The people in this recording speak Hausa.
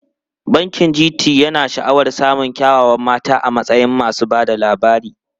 Bankin GT yana sha'awar samun kyawawan mata a matsayin masu ba da labari.